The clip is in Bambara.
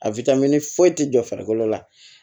foyi tɛ jɔ farikolo la